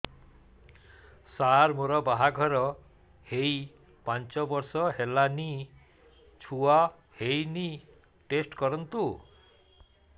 ସାର ମୋର ବାହାଘର ହେଇ ପାଞ୍ଚ ବର୍ଷ ହେଲାନି ଛୁଆ ହେଇନି ଟେଷ୍ଟ କରନ୍ତୁ